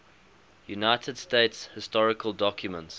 united states historical documents